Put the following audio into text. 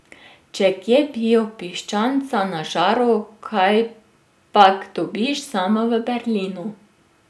Če kje, bio piščanca na žaru kajpak dobiš samo v Berlinu.